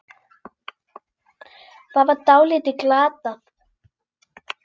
Það var því dálítið glatað.